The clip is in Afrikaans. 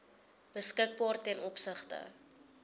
beskikbaar ten opsigte